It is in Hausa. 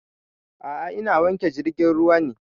A'a ina wanke jirgin ruwa ne